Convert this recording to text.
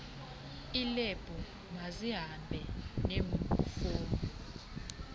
elebhu mazihambe nefomu